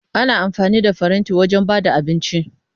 Ana amfani da faranti wajen ba da abinci.